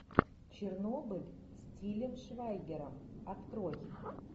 чернобыль с тилем швайгером открой